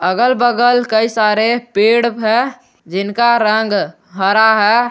अगल बगल कई सारे पेड़ हैं जिनका रंग हरा है।